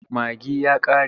Magi ya ƙare.